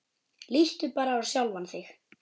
Líttu bara á sjálfan þig.